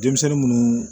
Denmisɛnnin munnu